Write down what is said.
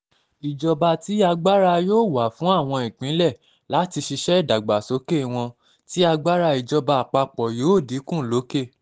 ìjọba tí agbára yóò wà um fún àwọn ìpínlẹ̀ láti ṣiṣẹ́ ìdàgbàsókè wọn tí agbára ìjọba àpapọ̀ yóò um dínkù lókè